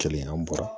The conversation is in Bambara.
Kelen an bɔra